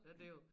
Ja det jo